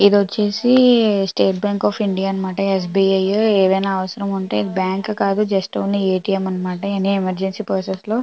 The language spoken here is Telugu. ఇది వచ్చేసి స్టేట్ బ్యాంక్ ఆఫ్ ఇండియా అన్నమాట. ఎ. స్బి. ఐ ఏదైనా అవసరం ఉంటే బ్యాంకు కాదు జస్ట్ ఒక A. T. M emergency process లో --